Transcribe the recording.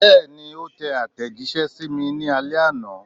Bẹ́ẹ̀ni, ó tẹ àtẹ̀jíṣẹ́ sí mi ní alẹ́ àná.